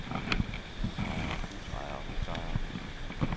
husejere husejere husejere